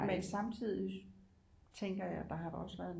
Men samtidigt tænker jeg der har da også været